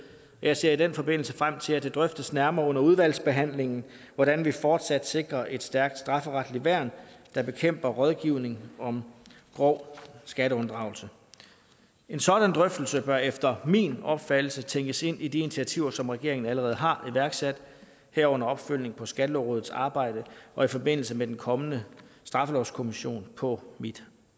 jeg ser i den forbindelse frem til at det drøftes nærmere under udvalgsbehandlingen hvordan vi fortsat sikrer et stærkt strafferetligt værn der bekæmper rådgivning om grov skatteunddragelse en sådan drøftelse bør efter min opfattelse tænkes ind i de initiativer som regeringen allerede har iværksat herunder opfølgningen på skattelovrådets arbejde og i forbindelse med den kommende straffelovskommission på mit